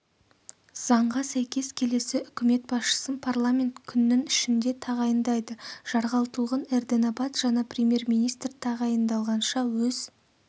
заңға сәйкес келесі үкімет басшысын парламент күннің ішінде тағайындайды жарғалтұлғын эрдэнэбат жаңа премьер-министр тағайындалғанша өз